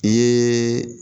I ye